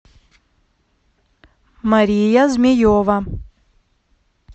мария змеева